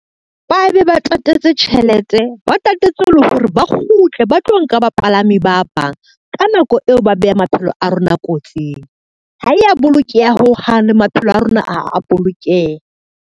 Ba be ba tatetse tjhelete, ba tatetse le hore ba kgutle, ba tlo nka bapalami ba bang. Ka nako eo, ba beha maphelo a rona kotsing, ha ya bolokeha ho hang le maphelo a rona ha a bolokeha.